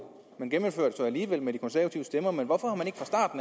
man gennemfører alligevel med de konservative stemmer men hvorfor har man